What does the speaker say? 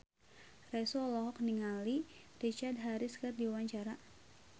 Raisa olohok ningali Richard Harris keur diwawancara